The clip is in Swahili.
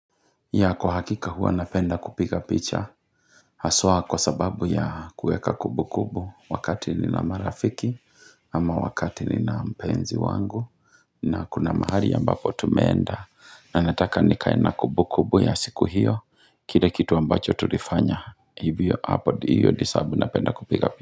Ya kuhakika huwa napenda kupika picha Haswa kwa sababu ya kuweka kumbum kubu wakati nina marafiki Ama wakati ni na mpenzi wangu na kuna mahali ambapo tumeenda na nataka nikae na kumbu kumbu ya siku hio Kile kitu ambacho tulifanya Hivyo hapo hivyo sababu napenda kupiga picha.